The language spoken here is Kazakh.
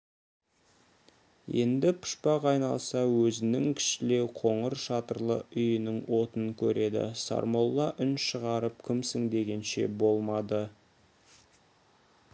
енді пұшпақ айналса өзінің кішілеу қоңыр шатырлы үйінің отын көреді сармолла үн шығарып кімсің дегенше болмады